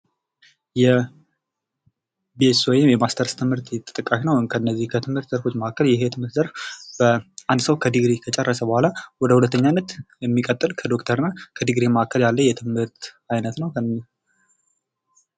የቢ.ኤስ.ሲ ወይም ማስተርስ ትምህርት ተጠቃሽ ነው። ከነዚህ ከትምህርት ዘርፎች መካከል ይህ የትምህርት ዘርፍ አንድ ሰው ድግሪ ከጨረሰ በኋላ ወደ ሁለተኛነት የሚቀጥል ከዶክተር እና ከድግሪ መካከል ያለ የትምህርት አይነት ነው።